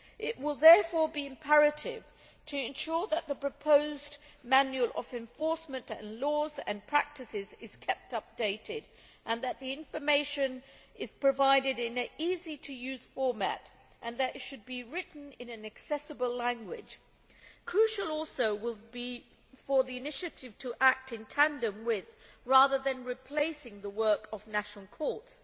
It will therefore be imperative to ensure that the proposed manual of national enforcement laws and practices is kept updated and that the information is provided in easy to use format and that it should be written in an accessible language. It will also be crucial for the initiative to act in tandem with rather than replacing the work of national courts.